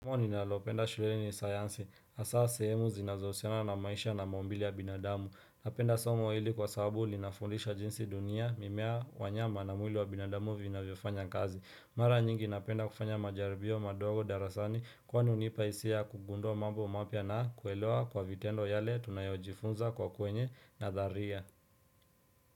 Mwani nalopenda shulele ni sayansi. Asa sehemu zinazohusiana na maisha na maumbile ya binadamu. Napenda somo hili kwa sababu linafundisha jinsi dunia mimea wanyama na mwili wa binadamu vinavyofanya kazi. Mara nyingi napenda kufanya majaribio madogo darasani kwa ni unipaisia kugundua mambo mapya na kuelewa kwa vitendo yale tunayojifunza kwa kwenye na dharia.